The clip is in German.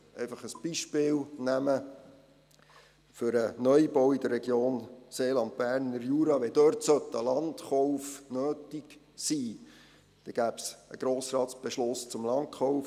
Ein Beispiel für einen Neubau in der Region Berner Jura-Seeland: Sollte dort ein Landkauf nötig sein, dann gäbe es einen Beschluss des Grossen Rates zum Landkauf.